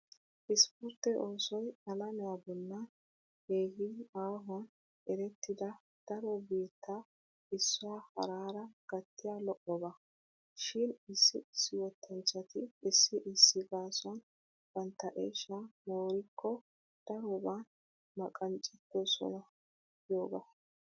Ispportte oosoy alamiya bollan keehin aahuwan erettida daro biittaa issuwa haraara gattiya lo'oba. Shin issi issi wottanchchati issi issi gaasuwan bantta eshshaa moorikko daroban maqqaccettoosona giyogaa.